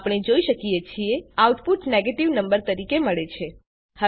આપણે જોઈ શકીએ છીએ આઉટપુટ નેગેટિવ નંબર તરીકે મળે છે